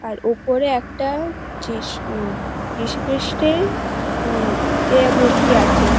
আর ওপরে একটা জিশ উম যীশুখ্রিস্টের উম এ মূর্তি আছে।